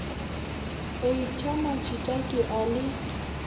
heita majita ke a le